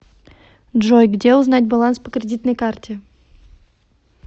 джой где узнать баланс по кредитной карте